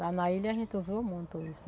Lá na ilha a gente usou muito isso.